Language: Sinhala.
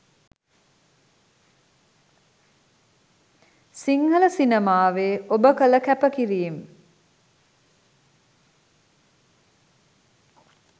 සිංහල සිනමාවේ ඔබ කළ කැප කිරීම